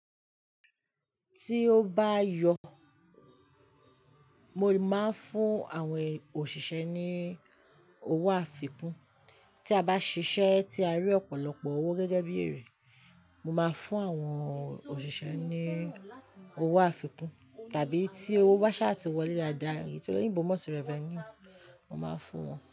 Tí ó bá yọ, mo máa ń fún àwọn òṣìṣẹ́ ní owó àfikún. Tí a bá ṣiṣẹ́ tí a rí ọ̀pọ̀lọpọ̀ owó gẹ́gẹ́ bí èrè, mo máa fún àwọn òṣìṣẹ́ ní owó àfikún tàbí tí owó wa ṣáà ti wọlé dáadáa, èyí tí olùyìnbímọ tí revenue, mo máa fún wọn.